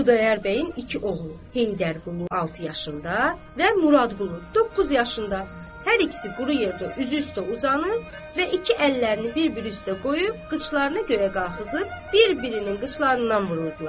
Xudayar bəyin iki oğlu, Heydərqulu altı yaşında və Muradqulu doqquz yaşında, hər ikisi quru yerdə üzü üstə uzanıb və iki əllərini bir-biri üstə qoyub qıçlarını yuxarı qaldırıb bir-birinin qıçlarından vururdular.